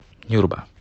нюрба